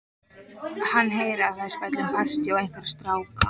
Hann heyrir að þær spjalla um partí og einhverja stráka.